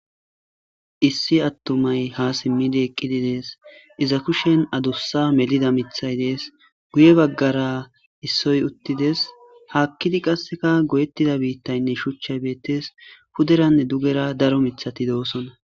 Issi attomay ha simmidi eqqidi dees iza kushen adussa melida mithay dees guye baggara issoy uttides haakkidi qasseka goyettida biittaynne shuchchay beettes huderanne dugera daro mithati doosona.